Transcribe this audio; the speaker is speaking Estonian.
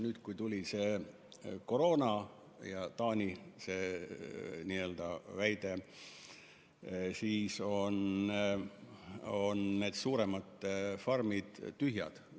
Nüüd, kui tuli koroona ja Taani juhtum, siis jäid suuremad farmid tühjaks.